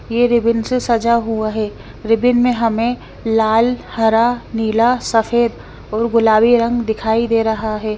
ये रिबिन से सजा हुआ है रिबिन में हमें लाल हरा नीला सफ़ेद यर गुलाबी रंग दिखाई दे रहा है।